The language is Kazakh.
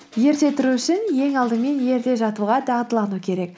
ерте тұру үшін ең алдымен ерте жатуға дағдылану керек